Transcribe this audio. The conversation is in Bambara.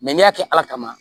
n'i y'a kɛ ala kama